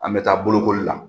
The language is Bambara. An bɛ taa bolokoli la.